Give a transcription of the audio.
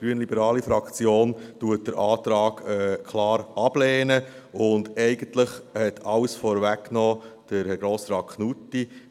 Die grünliberale Fraktion lehnt den Antrag klar ab, und eigentlich hat Herr Grossrat Knutti alles vorweggenommen.